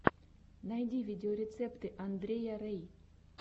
найди видеорецепты андрея рэй